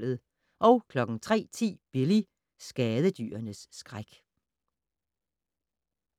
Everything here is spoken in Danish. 03:10: Billy - skadedyrenes skræk